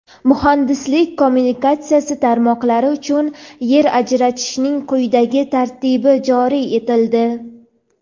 Muhandislik-kommunikatsiya tarmoqlari uchun yer ajratishning quyidagi tartibi joriy etildi:.